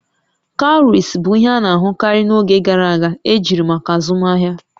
Cowries bụ ihe a na-ahụkarị n'oge gara aga ejiri maka azụmahịa